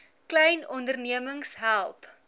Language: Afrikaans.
klein ondernemings help